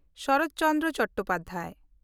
Sarat Chandra Chattopadhyay